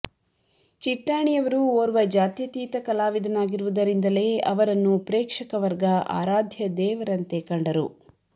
ಚಿಟ್ಟಾಣಿಯವರು ಓರ್ವ ಜಾತ್ಯತೀತ ಕಲಾವಿದನಾಗಿರುವುದರಿಂದಲೇ ಅವರನ್ನು ಪ್ರೇಕ್ಷಕವರ್ಗ ಆರಾಧ್ಯ ದೇವರಂತೆ ಕಂಡರು